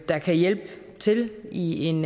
der kan hjælpe til i en